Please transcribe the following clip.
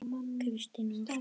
Kristín Ósk.